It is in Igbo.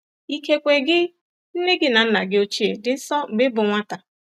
Ikekwe gị, nne gị na nna gị ochie dị nso mgbe ị bụ nwata.